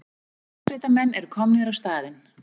Björgunarsveitarmenn eru komnir á staðinn